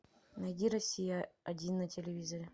найди россия один на телевизоре